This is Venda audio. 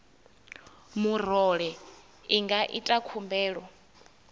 murole i nga ita khumbelo